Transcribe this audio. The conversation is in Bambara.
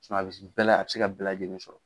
a bɛ se bɛɛ la a bɛ se ka bɛɛ lajɛlen sɔrɔ.